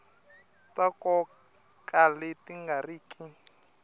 ta nkoka leti nga riki